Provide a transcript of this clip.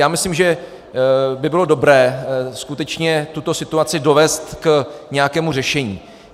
Já myslím, že by bylo dobré skutečně tuto situaci dovézt k nějakému řešení.